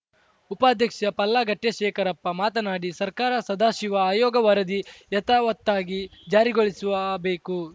ಉಪಾಧ್ಯಕ್ಷ ಪಲ್ಲಾಗಟ್ಟೆಶೇಖರಪ್ಪ ಮಾತನಾಡಿ ಸರ್ಕಾರ ಸದಾಶಿವ ಆಯೋಗ ವರದಿ ಯಥಾವತ್ತಾಗಿ ಜಾರಿಗೊಳಿಸುವ ಬೇಕು